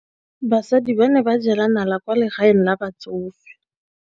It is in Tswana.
Basadi ba ne ba jela nala kwaa legaeng la batsofe.